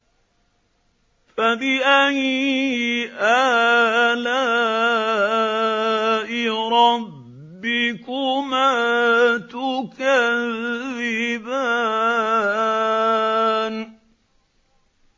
فَبِأَيِّ آلَاءِ رَبِّكُمَا تُكَذِّبَانِ